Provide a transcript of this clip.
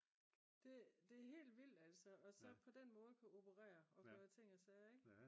det er helt vildt altså og så på den måde at kunne operere og gøre ting og sager ikke